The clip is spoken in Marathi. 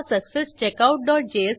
नंतर रिटर्न बुक वर क्लिक करा